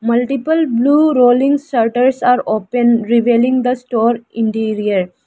multiple blue rolling shutters are open revealing the store interior.